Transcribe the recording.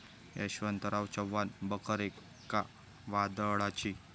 यशवंतराव चव्हाण बखर एका वादळाची'